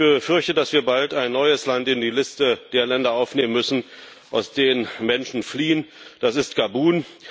Ich befürchte, dass wir bald ein neues Land in die Liste der Länder aufnehmen müssen, aus denen Menschen fliehen das ist Gabun.